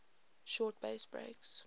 short bass breaks